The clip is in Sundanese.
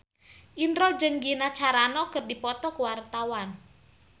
Indro jeung Gina Carano keur dipoto ku wartawan